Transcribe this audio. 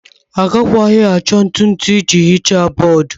Agakwaghị achọ ntụ ntụ iji hichaa bọọdụ.